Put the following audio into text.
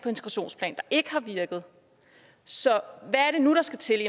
der ikke har virket så hvad er det nu der skal til